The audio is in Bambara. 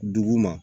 Dugu ma